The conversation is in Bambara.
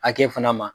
Hakɛ fana ma